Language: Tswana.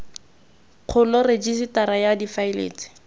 kgolo rejisetara ya difaele tse